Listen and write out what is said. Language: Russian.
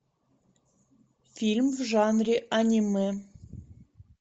фильм в жанре аниме